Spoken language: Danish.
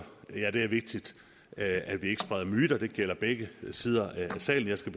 er det vigtigt at vi ikke spreder myter og det gælder begge sider af salen jeg skal